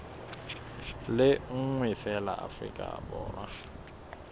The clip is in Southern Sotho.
le nngwe feela afrika borwa